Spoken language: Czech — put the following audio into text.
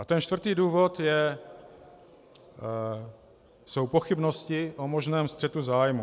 A ten čtvrtý důvod jsou pochybnosti o možném střetu zájmů.